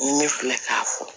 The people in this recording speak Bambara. Ne filɛ k'a fɔ